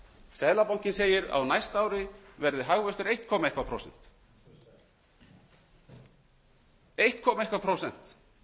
seðlabankinn segir að á næsta ári verði hagvöxtur eitt koma eitthvað prósent